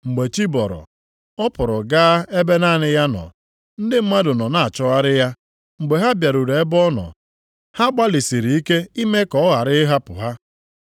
Mgbe chi bọrọ, ọ pụrụ gaa ebe naanị ya nọ. Ndị mmadụ nọ na-achọgharị ya; mgbe ha bịaruru ebe ọ nọ, ha gbalịsịrị ike ime ka ọ ghara ịhapụ ha.